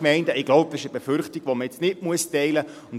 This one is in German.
Ich denke, dies ist eine Befürchtung, die man nicht teilen muss.